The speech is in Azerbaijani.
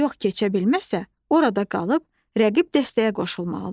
Yox keçə bilməsə, orada qalıb rəqib dəstəyə qoşulmalıdır.